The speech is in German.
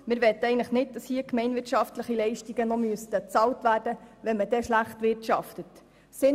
Wir möchten eigentlich nicht, dass noch gemeinwirtschaftliche Leistungen bezahlt werden, wenn schlecht gewirtschaftet wird.